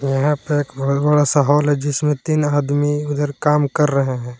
यहां पे एक बहुत बड़ा सा हॉल है जिसमें तीन आदमी उधर काम कर रहे हैं।